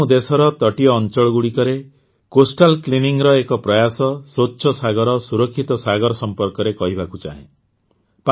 ଏଠାରେ ମୁଁ ଦେଶର ତଟୀୟ ଅଂଚଳଗୁଡ଼ିକରେ କୋଷ୍ଟାଲ୍ କ୍ଲିନିଂର ଏକ ପ୍ରୟାସ ସ୍ୱଚ୍ଛ ସାଗରସୁରକ୍ଷିତ ସାଗର ଏ ସମ୍ପର୍କରେ କହିବାକୁ ଚାହେଁ